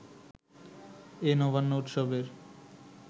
এ নবান্ন উৎসবের